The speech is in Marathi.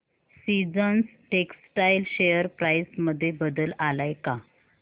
सीजन्स टेक्स्टटाइल शेअर प्राइस मध्ये बदल आलाय का